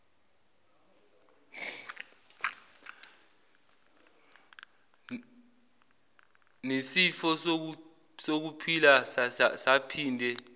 nisifiso sokuphila saphinde